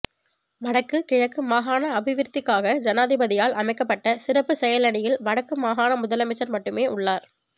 வடக்கு கிழக்கு மாகாண அபிவிருத்திக்ககாக ஜனாதிபதியால் அமைக்கப்பட்ட சிறப்புச் செயலணியில் வடக்கு மாகாண முதலமைச்சர் மட்டுமே உள்ளார்